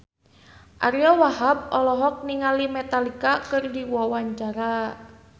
Ariyo Wahab olohok ningali Metallica keur diwawancara